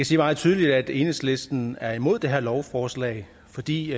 sige meget tydeligt at enhedslisten er imod det her lovforslag fordi det